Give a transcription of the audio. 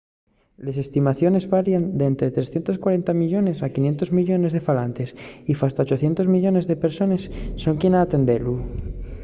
les estimaciones varien d’ente 340 millones a 500 millones de falantes y fasta 800 millones de persones son quien a entendelu